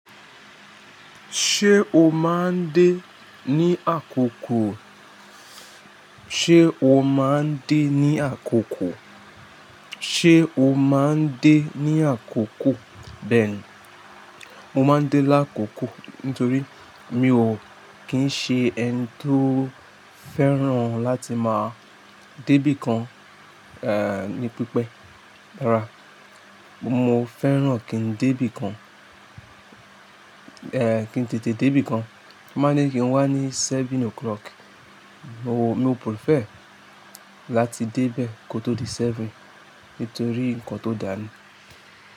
Ṣé o máa ń dé ní àkókò? Ṣé o máa ń dé ní àkókò? Ṣé o máa ń dé ní àkókò? Beeni. Mo máa ń dé lákòókò nítorí mi ò kí ń ṣe ẹni tó fẹ́ràn láti máa débí kan, ní pípẹ́, rárá. Mo fẹ́ràn kí n débí kan, kí n tètè débí kan. Tan ba ní kí n wá ní seven o'clock, mo, mo prefer láti dé bẹ́ẹ̀ kótó di seven nítorí nǹkan tó dà ní.